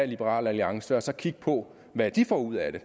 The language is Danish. liberal alliance og så kigge på hvad de får ud af det